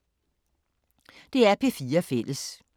DR P4 Fælles